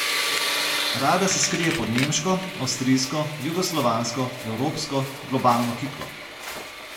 Rada se skrije pod nemško, avstrijsko, jugoslovansko, evropsko, globalno kiklo.